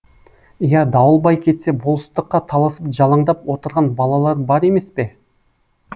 иә дауылбай кетсе болыстыққа таласып жалаңдап отырған балалары бар емес пе